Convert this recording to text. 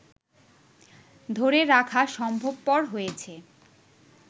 ধরে রাখা সম্ভবপর হয়েছে